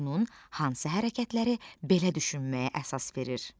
Onun hansı hərəkətləri belə düşünməyə əsas verir?